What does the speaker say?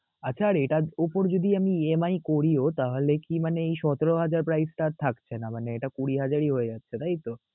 আচ্ছা এটার উপর যদি আমি EMI করিও তাহলে কি মানে এই সতেরো হাজার price টা আর থাকছে না, মানে এটা কুঁড়ি হাজারই হয়ে যাচ্ছে তাই তো?